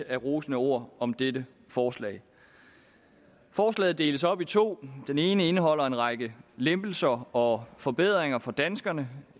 af rosende ord om dette forslag forslaget deles op i to den ene del indeholder en række lempelser og forbedringer for danskerne